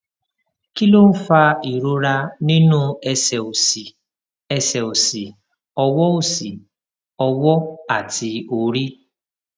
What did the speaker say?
kí ló ń fa ìrora nínú ẹsè òsì ẹsè òsì ọwọ òsì ọwọ àti orí